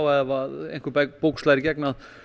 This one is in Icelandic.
ef einhver bók slær í gegn